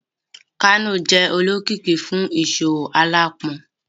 Kano jẹ olokiki fun iṣowo alaapọn